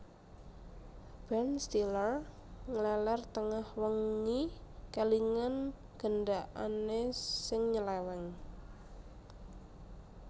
Ben Stiller ngleler tengah wengi kelingan gendakane sing nyeleweng